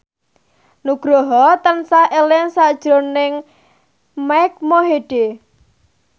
Nugroho tansah eling sakjroning Mike Mohede